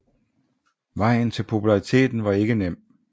Vejen til populariteten var ikke nem